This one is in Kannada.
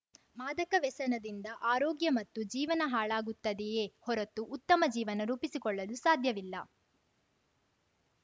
ಮಾದಕ ವ್ಯಸನದಿಂದ ಆರೋಗ್ಯ ಮತ್ತು ಜೀವನ ಹಾಳಾಗುತ್ತದೆಯೇ ಹೊರತು ಉತ್ತಮ ಜೀವನ ರೂಪಿಸಿಕೊಳ್ಳಲು ಸಾಧ್ಯವಿಲ್ಲ